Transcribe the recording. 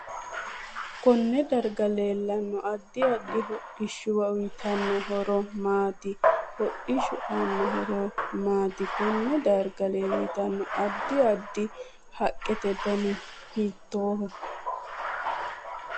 Konne darga leelanno addi addi hodhishuwa uyiitanno horo maati hodhishu aano horo maati konne darga leeltanno addi addi haqete dani hiitooho